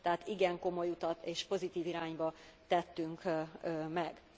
Tehát igen komoly utat és pozitív irányban tettünk meg.